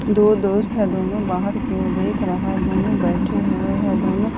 दो दोस्त है दोनों बाहर की ओर देख रहा है दोनों बैठे हुए हैं दोनों--